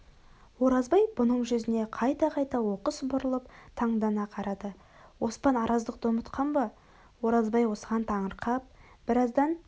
оразбай бұның жүзіне қайта-қайта оқыс бұрылып таңдана қарады оспан араздықты ұмытқан ба оразбай осыған таңырқап біраздан